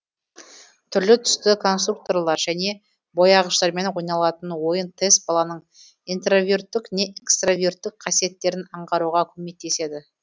түрлі түсті конструкторлар және бояғыштармен ойналатын ойын тест баланың интроверттік не экстраверттік қасиеттерін аңғаруға көмектеседі